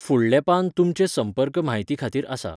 फुडलें पान तुमचे संपर्क म्हायती खातीर आसा.